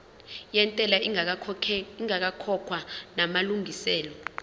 yentela ingakakhokhwa namalungiselo